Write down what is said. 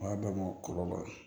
O y'a bɛɛ bɔ kɔrɔbɔrɔ ye